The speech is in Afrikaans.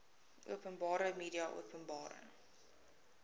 openbare media openbare